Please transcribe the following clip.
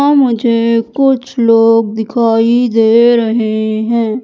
मुझे कुछ लोग दिखाई दे रहे हैं।